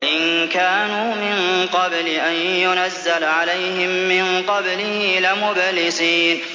وَإِن كَانُوا مِن قَبْلِ أَن يُنَزَّلَ عَلَيْهِم مِّن قَبْلِهِ لَمُبْلِسِينَ